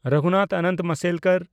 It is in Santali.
ᱨᱚᱜᱷᱩᱱᱟᱛᱷ ᱚᱱᱚᱱᱛ ᱢᱟᱥᱮᱞᱠᱚᱨ